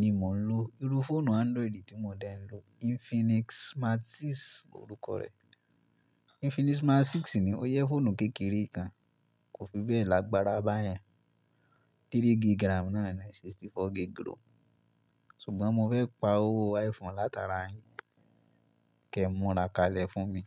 ni mò ń lò. Irú fóònù Android tí mo dá ẹ ló, Infinix Smart 6 orúkọ rẹ̀. Infinix Smart 6 ni ó yẹ fóònù kékeré kan, kò fi bẹ́ẹ̀ lágbára báyẹn. 3 gigram náà ni 64 gigrom. Ṣùgbọ́n mo fẹ́ pa owó iPhone látara yin, kẹ múra kalẹ̀ fún mi.